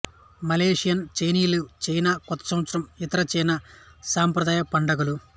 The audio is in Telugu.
మలేషియన్ చైనీయులు చైనా కొత్త సంవత్సరం ఇతర చైనా సాంప్రదాయ పండుగలు